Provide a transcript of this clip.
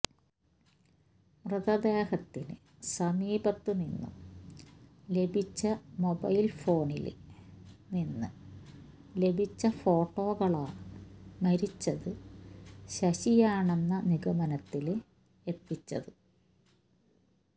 മൃതദേഹത്തിന് സമീപത്ത് നിന്നും ലഭിച്ച മൊബൈല് ഫോണില് നിന്ന് ലഭിച്ച ഫോട്ടോകളാണ് മരിച്ചത് ശശിയാണെന്ന നിഗമനത്തില് എത്തിച്ചത്